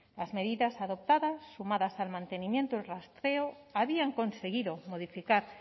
las medidas adoptadas sumadas al mantenimiento del rastreo habían conseguido modificar